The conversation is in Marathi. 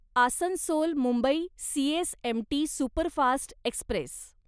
Asansol Mumbai CSMT superfast Express